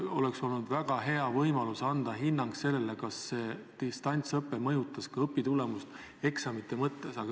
Meil oleks olnud väga hea võimalus anda eksamite põhjal hinnang sellele, kas distantsõpe mõjutas õpitulemusi.